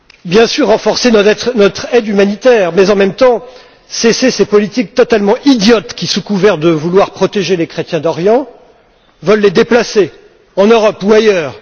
Bien sûr, renforcer notre aide humanitaire mais, en même temps, cesser ces politiques totalement idiotes qui, sous couvert de vouloir protéger les chrétiens d'Orient, veulent les déplacer en Europe ou ailleurs.